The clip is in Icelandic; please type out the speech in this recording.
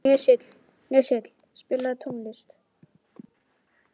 Sesil, spilaðu tónlist.